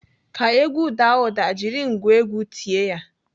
Ka egwu daa ụda, jiri ngwa egwu tie ya.